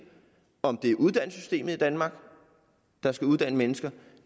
om det er uddannelsessystemet i danmark der skal uddanne mennesker